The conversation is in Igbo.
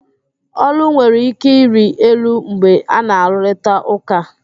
Ólú nwere ike ịrị elu mgbe ana-arụrịta ụka